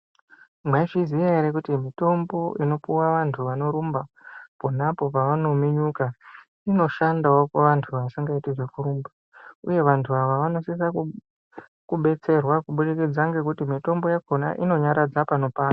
Mwaizviziya ere kuti mitombo inopuwa vantu anorumba pona apo pavanominyuka inoshandawo kuvantu vasingaiti zvekurumba uye vantu ava vanosise kubetserwa kubudikidza ngekuti mitombo yakhona inonyaradza panopanda.